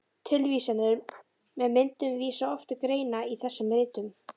Tilvísanir með myndum vísa oft til greina í þessum ritum.